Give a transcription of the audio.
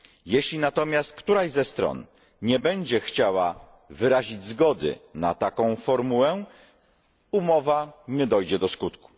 Jeśli natomiast któraś ze stron nie będzie chciała wyrazić zgody na taką formułę, umowa nie dojdzie do skutku.